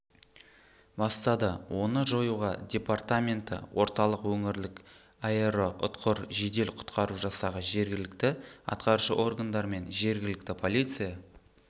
бастады оны жоюға департаменті орталық өңірлік аэроұтқыр жедел-құтқару жасағы жергілікті атқарушы органдар мен жергілкті полиция